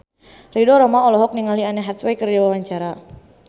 Ridho Roma olohok ningali Anne Hathaway keur diwawancara